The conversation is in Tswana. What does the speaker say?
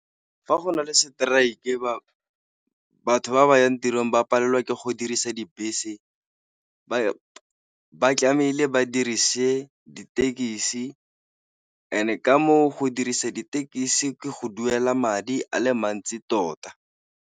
Fa go na le strike batho ba ba yang tirong ba palelwa ke go dirisa dibese ba tlamehile ba dirise ditekisi, and-e ka moo go diriseng ditekisi ke go duela madi a le mantsi tota.